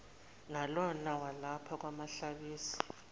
nalona walapha kwahlabisa